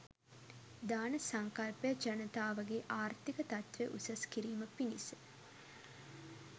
දාන සංකල්පය ජනතාවගේ ආර්ථික තත්ත්වය උසස් කිරීම පිණිස